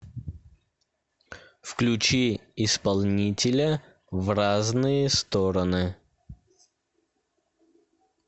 включи исполнителя в разные стороны